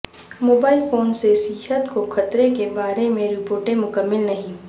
mobile phone سے صحت کو خطرے کے بارے میں رپورٹیں مکمل نہیں